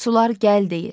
Sular gəl deyir.